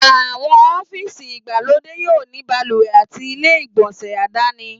Àwọn ọ́fíìsì ìgbàlódé yóò ní balùwẹ̀ àti ilé ìgbọ̀nsẹ̀ aládàáni